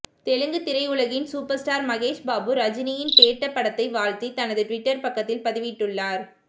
தெலுங்கு திரையுலகின் super star Mahesh Babu ரஜினியின் பேட்ட படத்தை வாழ்த்தி தனது ட்விட்டர் பக்கத்தில் பதிவிட்டுள்ளார்